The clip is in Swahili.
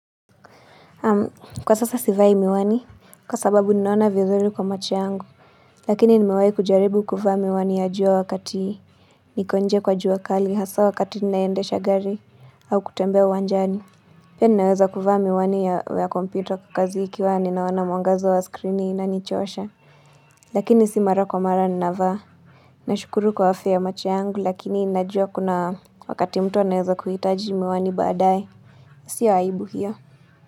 Kwa sasa si vai miwani, kwa sababu ninaona vizuri kwa macho yangu, lakini nimewai kujaribu kufaa miwani ya jua wakati niko nje kwa jua kali hasa wakati ninaendesha gari au kutembea uwanjani. Pia ninaweza kuvaa miwani ya kompyuta kwa kazi ikiwa ninaona mwangaza wa skrini na inanichosha. Lakini si mara kwa mara ninavaa. Nashukuru kwa afya macho yangu lakini najua kuna wakati mtu anaweza kuhitaji miwani baadae. Sio aibu hiyo.